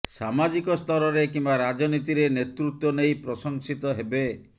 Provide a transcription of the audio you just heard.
ସାମାଜିକ ସ୍ତରରେ କିମ୍ବା ରାଜନୀତିରେ ନେତୃତ୍ୱ ନେଇ ପ୍ରଶଂସିତ ହେବେ